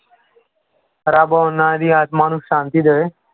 ਰੱਬ ਉਹਨਾਂ ਦੀ ਆਤਮਾ ਨੂੰ ਸ਼ਾਂਤੀ ਦੇਵੇ।